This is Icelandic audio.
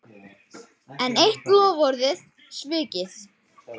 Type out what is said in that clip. Enn eitt loforðið svikið